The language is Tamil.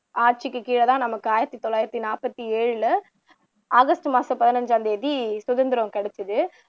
ஆட்சிக்கு கீழதான் நமக்கு ஆயிரத்து தொள்ளாயிரத்து நாற்பத்து ஏழுல ஆகஸ்ட் மாசம் பதினைந்தாம் தேதி சுதந்திரம் கிடைச்சுது